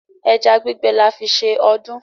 Ẹja gbígbẹ là fí ṣe ọdún.